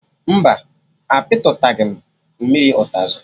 Mba, a pịtụtaghị m mmiri ụtazị